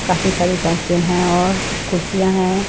काफी सारी साइकिल हैं और कुर्सियाँ हैं।